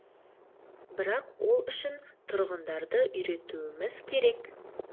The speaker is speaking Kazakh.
бірақ ол үшін тұрғындарды үйретуіміз керек